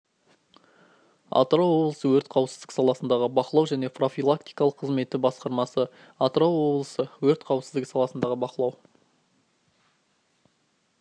атырау облысы өрт қауіпсіздік саласындағы бақылау және профилактикалық қызметі басқармасы атырау облысы өрт қауіпсіздігі саласындағы бақылау